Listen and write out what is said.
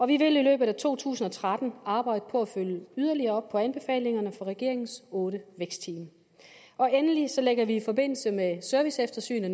vi vil i løbet af to tusind og tretten arbejde på at følge yderligere op på anbefalingerne fra regeringens otte vækstteam endelig lægger vi i forbindelse med et serviceeftersyn af